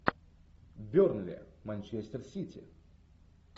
бернли манчестер сити